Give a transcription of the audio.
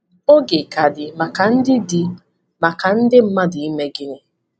Oge ka dị maka ndị dị maka ndị mmadụ ime gịnị?